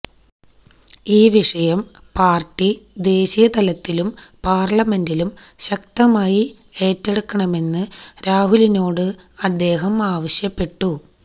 ഈ വിഷയം പാർട്ടി ദേശീയതലത്തിലും പാർലമെന്റിലും ശക്തമായി ഏറ്റെടുക്കണമെന്നു രാഹുലിനോട് അദ്ദേഹം ആവശ്യപ്പെട്ടു